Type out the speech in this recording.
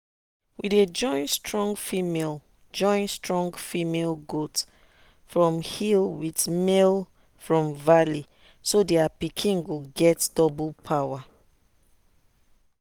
we dey join strong female join strong female goat from hill with male from valley so their pikin go get double power.